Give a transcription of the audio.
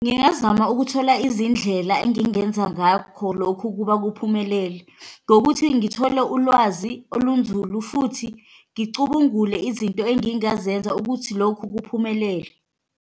Ngingazama ukuthola izindlela engingenza ngakho lokhu ukuba kuphumelele, ngokuthi ngithole ulwazi olunzulu futhi ngicubungule izinto engingazenza ukuthi lokhu kuphumelele.